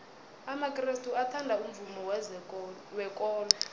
amakrestu athanda umvumo wekolo